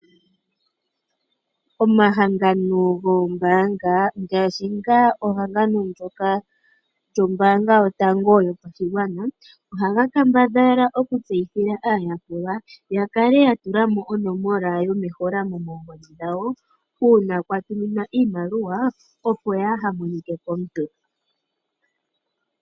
Omahangano goombaanga ngaashi ehangano ndyoka lyombaanga yotango yopashigwana ohaga kambadhala okutseyithila aayakulwa ya kale ya tula mo onomola yomeholamo moongodhi dhawo, uuna kwa tuminwa iimaliwa opo yaaha monike komuntu.